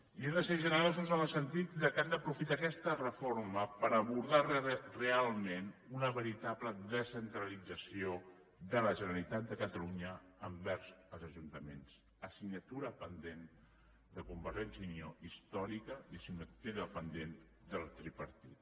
i han de ser generosos en el sentit que han d’aprofitar aquesta reforma per abordar realment una veritable descentralització de la generalitat de catalunya envers els ajuntaments assignatura pendent de convergència i unió històrica i assignatura pendent del tripartit